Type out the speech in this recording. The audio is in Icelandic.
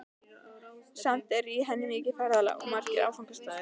Samt er í henni mikið ferðalag og margir áfangastaðir.